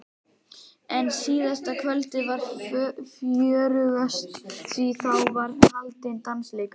En síðasta kvöldið var fjörugast því þá var haldinn dansleikur.